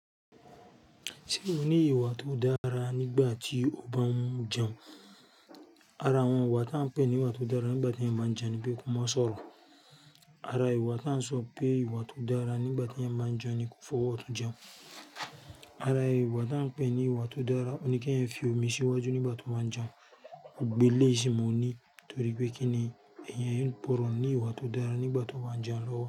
Ṣé o ní ìwà tó dára nígbà tí o bá ń jẹun? Ara àwọn ìwà tí a ń pè ní ìwà tó dára nígbà tí ẹ́ máa ń jẹun ni pé ko má sọ̀rọ̀. Ara ìwà ta ń sọ pé ìwà tó dára nígbà tí ẹ́ máa ń jẹun ni kó fọwọ́ ọtún jẹun. Ara ìwà ta ń pè ní ìwà tó dára ni kí ẹ fi omi síwájú nígbà tó máa ń jẹun. Gbogbo eléyìí mo ní torí pé kí ni èyàn gbọrọ̀ ní ìwà tó dára nígbà tí ó bá ń jẹun lọ́wọ́